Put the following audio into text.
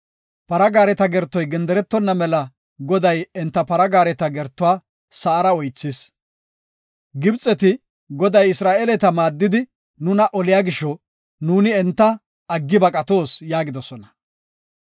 Para gaareta gertoy genderetonna mela Goday enta para gaareta gertuwa sa7ara oythis. Gibxeti, “Goday Isra7eeleta maaddidi nuna oliya gisho, nuuni enta aggidi baqatoos” yaagidosona.